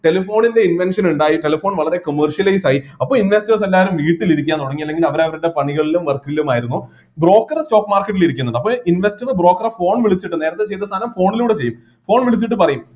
telephone ൻ്റെ invention ഇണ്ടായി telephone വളരെ commercialise ആയി അപ്പൊ investors എല്ലാരും വീട്ടിൽ ഇരിക്കാൻ തുടങ്ങി അല്ലെങ്കിൽ അവർ അവരുടെ പണികളിലും work ലും ആയിരുന്നു broker stock market ൽ ഇരിക്കുന്നുണ്ട് അപ്പൊ investor broker എ phone വിളിച്ചിട്ട് നേരത്തെ ചെയ്‌ത സാധനം phone ലൂടെ ചെയ്യും phone വിളിച്ചിട്ട് പറയും